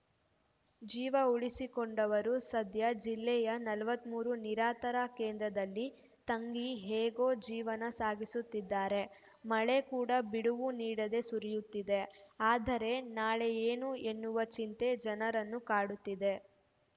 ಜೀವ ಉಳಿಸಿಕೊಂಡವರು ಸದ್ಯ ಜಿಲ್ಲೆಯ ನಲವತ್ತ್ ಮೂರು ನಿರಾತರ ಕೇಂದ್ರದಲ್ಲಿ ತಂಗಿ ಹೇಗೋ ಜೀವನ ಸಾಗಿಸುತ್ತಿದ್ದಾರೆ ಮಳೆ ಕೂಡ ಬಿಡುವು ನೀಡದೆ ಸುರಿಯುತ್ತಿದೆ ಆದರೆ ನಾಳೆ ಏನು ಎನ್ನುವ ಚಿಂತೆ ಜನರನ್ನು ಕಾಡುತ್ತಿದೆ